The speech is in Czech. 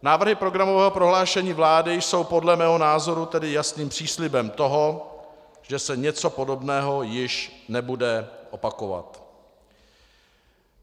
Návrhy programového prohlášení vlády jsou podle mého názoru tedy jasným příslibem toho, že se něco podobného již nebude opakovat.